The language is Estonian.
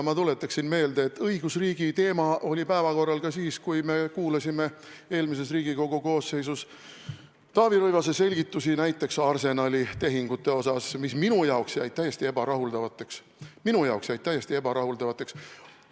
Ma tuletan meelde, et õigusriigiteema oli päevakorral ka siis, kui me kuulasime eelmises Riigikogu koosseisus Taavi Rõivase selgitusi näiteks Arsenali tehingute kohta, mis minu arvates jäid täiesti ebarahuldavaks.